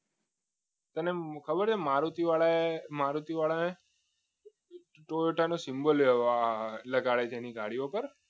તમને ખબર છે મારુતિ વાળાને ટોયોટા નો સિમ્બોલ લેવા લગાડે છે એની ગાડીઓ પર